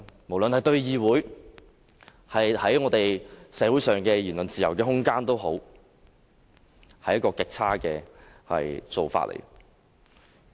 無論對議會或社會的自由言論空間，這都是極差的做法。